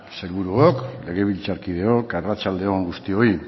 sailburuok legebiltzarkideok arratsalde on guztioi